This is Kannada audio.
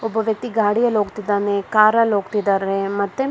ಒಬ್ಬ ವ್ಯಕ್ತಿ ಗಾಡಿಯಲೋಗ್ತಿದ್ದಾನೆ ಕಾರಲ್ಲಿ ಹೋಗ್ತಿದ್ದಾನೆ ಮತ್ತೆ--